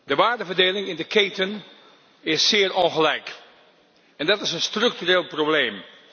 De waardeverdeling in de keten is zeer ongelijk en dat is een structureel probleem.